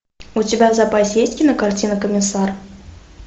у тебя в запасе есть кинокартина комиссар